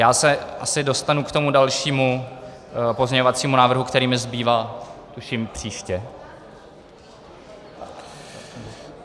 Já se asi dostanu k tomu dalšímu pozměňovacímu návrhu, který mi zbývá, tuším, příště.